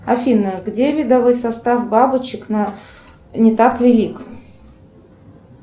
афина где видовой состав бабочек не так велик